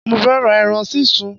Mo fẹ́ ra eran sísun